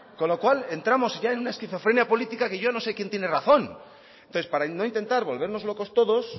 con lo cual ya entramos en una esquizofrenia política que yo no sé quién tiene razón entonces para no intentar volvernos locos todos